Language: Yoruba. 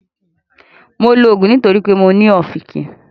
Mo lò òògùn nítorí pé mo ní ọ̀fìnkìn